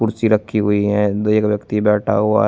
कुर्सी रखी हुई है एक व्यक्ति बैठा हुआ है।